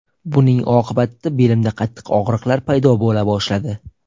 Buning oqibatida belimda qattiq og‘riqlar paydo bo‘la boshladi.